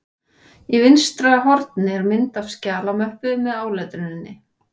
Í vinstra horni er mynd af skjalamöppu með áletruninni